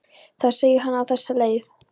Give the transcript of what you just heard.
Þar segir hann á þessa leið